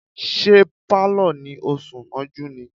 Ṣé Pálọ̀ ni ó sún mọ́jú ni?